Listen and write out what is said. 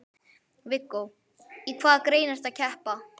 Viggó: Í hvaða grein ertu að keppa?